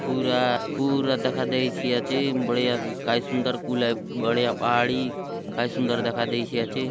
पूरा पूरा दखा देयसि आचे बढ़िया काय सुन्दर गुलाय बढ़िया पहाड़ी काय सुन्दर दखा देयसि आचे।